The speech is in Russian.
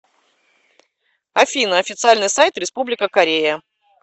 афина официальный сайт республика корея